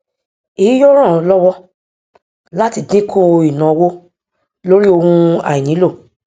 èyí yóò ràn ọ lọwọ láti dínkù ìnáowó lórí ohun àìnílò